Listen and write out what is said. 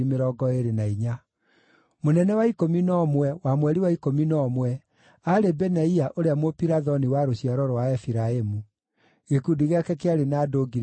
Mũnene wa ikũmi na ũmwe, wa mweri wa ikũmi na ũmwe, aarĩ Benaia ũrĩa Mũpirathoni wa rũciaro rwa Aefiraimu. Gĩkundi gĩake kĩarĩ na andũ 24,000.